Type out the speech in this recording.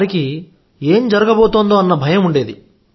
వారికి ఏం జరగబోతోందోనన్న భయం ఉండేది